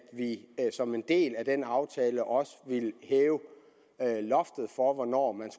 vi som en del af den aftale også vil hæve loftet for hvornår man